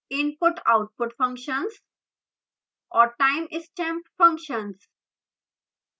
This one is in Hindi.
input/output functions और timestamp functions